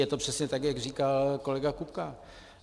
Je to přesně tak, jak říkal kolega Kupka.